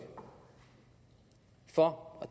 for og